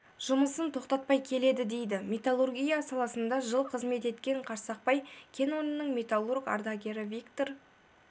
жұмысын тоқтатпай келеді дейді металлургия саласында жыл қызмет еткен қарсақпай кен орнының металлург ардагері виктор